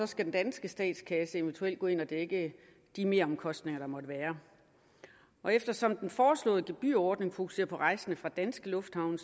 skal den danske statskasse eventuelt gå ind og dække de meromkostninger der måtte være eftersom den foreslåede gebyrordning fokuserer på rejsende fra danske lufthavne